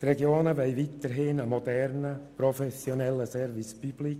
Die Regionen wollen weiterhin einen modernen, professionellen Service public.